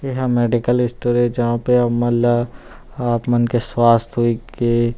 ये ह medical stores हे जहां पर मल्ला आप मन के स्वस्थ्य वाई के --